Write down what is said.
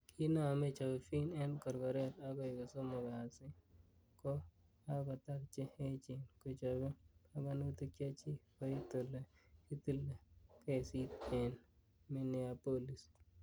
Kiinome Chauvin ing korokoret agoi ko somok kasi ko kakotar che echen kochobe panganutik chechik koit ole kitile kesit ing Minneapolis.